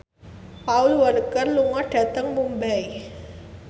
Paul Walker lunga dhateng Mumbai